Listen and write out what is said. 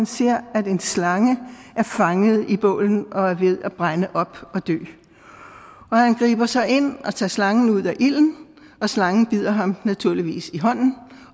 ser at en slange er fanget i bålet og er ved at brænde op og dø han griber så ind og tager slangen ud af ilden og slangen bider ham naturligvis i hånden